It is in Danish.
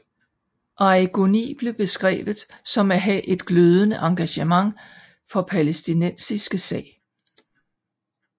Arrigoni blev beskrevet som at have et glødende engagement for palæstinæstiske sag